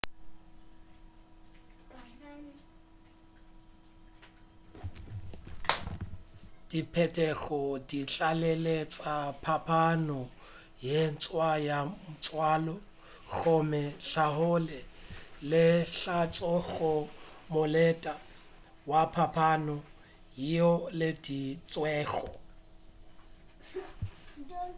diphetogo di tlaleletša phapano ye ntshwa ya tswalo gomme tlhaolo ye e tloša go molete wa phapano yeo e laeditšwego